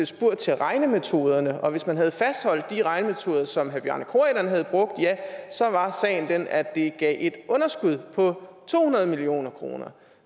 spurgt til regnemetoderne og hvis man havde fastholdt de regnemetoder som herre bjarne corydon havde brugt ja så var sagen den at det gav et underskud på to hundrede million kroner